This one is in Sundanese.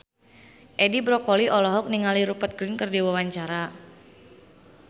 Edi Brokoli olohok ningali Rupert Grin keur diwawancara